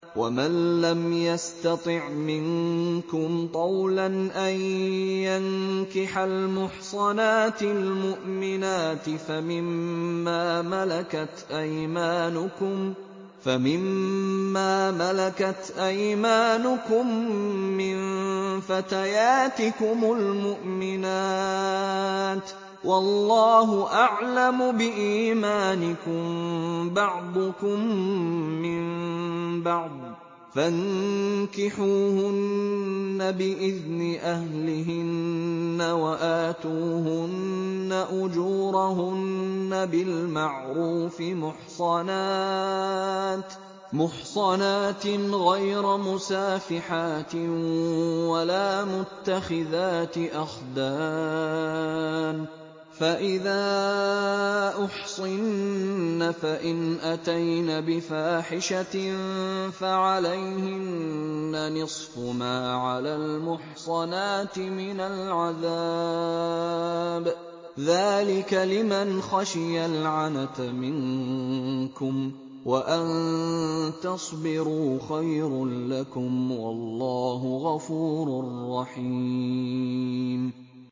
وَمَن لَّمْ يَسْتَطِعْ مِنكُمْ طَوْلًا أَن يَنكِحَ الْمُحْصَنَاتِ الْمُؤْمِنَاتِ فَمِن مَّا مَلَكَتْ أَيْمَانُكُم مِّن فَتَيَاتِكُمُ الْمُؤْمِنَاتِ ۚ وَاللَّهُ أَعْلَمُ بِإِيمَانِكُم ۚ بَعْضُكُم مِّن بَعْضٍ ۚ فَانكِحُوهُنَّ بِإِذْنِ أَهْلِهِنَّ وَآتُوهُنَّ أُجُورَهُنَّ بِالْمَعْرُوفِ مُحْصَنَاتٍ غَيْرَ مُسَافِحَاتٍ وَلَا مُتَّخِذَاتِ أَخْدَانٍ ۚ فَإِذَا أُحْصِنَّ فَإِنْ أَتَيْنَ بِفَاحِشَةٍ فَعَلَيْهِنَّ نِصْفُ مَا عَلَى الْمُحْصَنَاتِ مِنَ الْعَذَابِ ۚ ذَٰلِكَ لِمَنْ خَشِيَ الْعَنَتَ مِنكُمْ ۚ وَأَن تَصْبِرُوا خَيْرٌ لَّكُمْ ۗ وَاللَّهُ غَفُورٌ رَّحِيمٌ